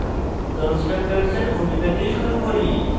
কন্সট্রাকটরসের ভূমিকা দিয়ে শুরু করি